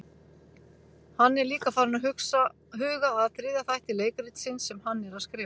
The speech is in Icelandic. Hann er líka farinn að huga að þriðja þætti leikritsins sem hann er að skrifa.